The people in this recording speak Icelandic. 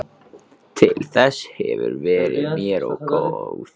Til þess hefurðu verið mér of góð.